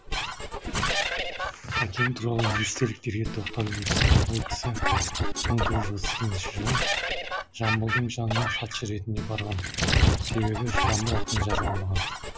әкем туралы естеліктерге тоқталып өтсем ол кісі мың тоғыз жүз отыз сегізінші жылы жамбылдың жанына хатшы ретінде барған себебі жамбыл ақын жаза алмаған